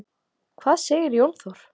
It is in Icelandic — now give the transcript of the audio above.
Hvað segir Jón Þór?